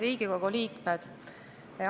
Riigikogu liikmed!